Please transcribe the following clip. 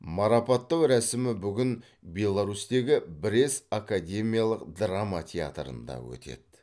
марапаттау рәсімі бүгін беларусьтегі брест академиялық драма театрында өтеді